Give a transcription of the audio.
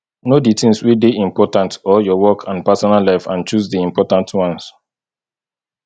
know di things wey dey important or your work and personal life and choose di important ones